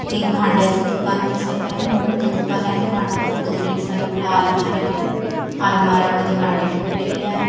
एक भांड्याच दुकान दिसत आहे मोठं दुकान आहे भांड्याच दोन्ही साईडला अलमाऱ्या आहे अलमाऱ्यामध्ये भांडे ठेवलेले आहे.